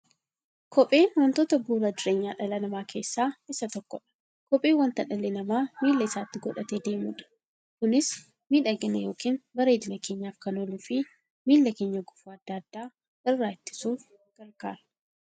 Kopheen wantoota bu'uura jireenya dhala namaa keessaa isa tokkodha. Kopheen wanta dhalli namaa miilla isaatti godhatee deemudha. Kunis miidhagani yookiin bareedina keenyaf kan ooluufi miilla keenya gufuu adda addaa irraa ittisuuf gargaara.